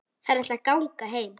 Þær ætla að ganga heim.